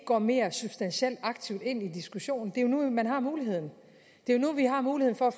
går mere substantielt aktivt ind i diskussionen det er nu man har muligheden det er nu vi har muligheden for at